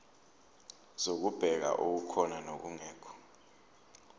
zokubheka okukhona nokungekho